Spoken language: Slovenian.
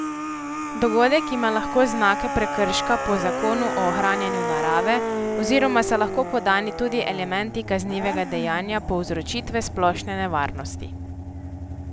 Dogodek ima lahko znake prekrška po Zakonu o ohranjanju narave oziroma so lahko podani tudi elementi kaznivega dejanja povzročitve splošne nevarnosti.